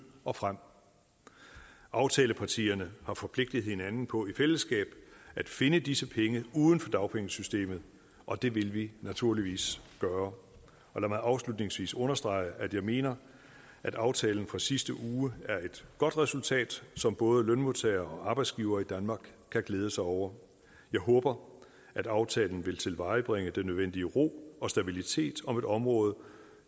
og frem aftalepartierne har forpligtet hinanden på i fællesskab at finde disse penge uden for dagpengesystemet og det vil vi naturligvis gøre lad mig afslutningsvis understrege at jeg mener at aftalen fra sidste uge er et godt resultat som både lønmodtagere og arbejdsgivere i danmark kan glæde sig over jeg håber at aftalen vil tilvejebringe den nødvendige ro og stabilitet om et område